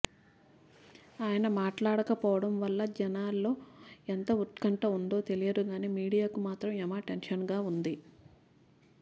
ఆయన మాట్లాడకపోవడంవల్ల జనంలో ఎంత ఉత్కంఠ ఉందో తెలియదుగాని మీడియాకు మాత్రం యమ టెన్షన్గా ఉంది